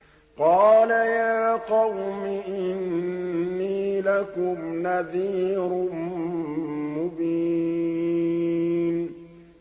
قَالَ يَا قَوْمِ إِنِّي لَكُمْ نَذِيرٌ مُّبِينٌ